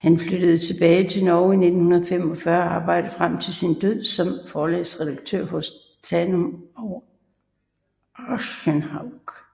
Han flyttede tilbage til Norge i 1945 og arbejdede frem til sin død som forlagsredaktør hos Tanum og Aschehoug